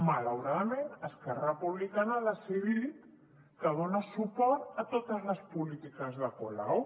malauradament esquerra republicana ha decidit que dona suport a totes les polítiques de colau